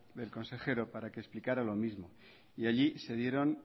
del consejero para que explicara lo mismo y allí se dieron